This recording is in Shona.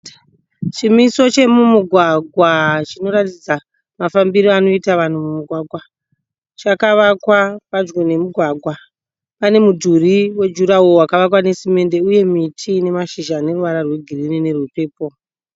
Chimiso chemumugwagwa chinotaridza mafambiro anoita vanhu mumugwagwa. Chakavakwa padyo nemugwagwa. Pane mudhuri wejurahoro wakavakwa nesemende uye miti ine mashizha aneruvara rwegirinhi nerwepepo.